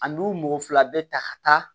Ani u mɔgɔ fila bɛ ta ka taa